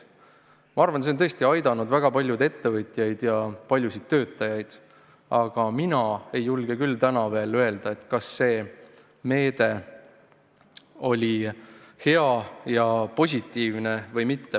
Ma arvan, et see on tõesti aidanud väga paljusid ettevõtjaid ja paljusid töötajaid, aga mina ei julge küll täna veel öelda, kas see meede oli hea ja positiivne või mitte.